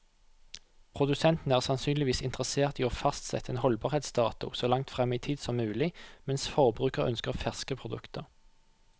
Produsenten er sannsynligvis interessert i å fastsette en holdbarhetsdato så langt frem i tid som mulig, mens forbruker ønsker ferske produkter.